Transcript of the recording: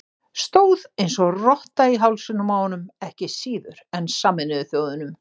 Stóð eins og rotta í hálsinum á honum, ekki síður en Sameinuðu þjóðunum.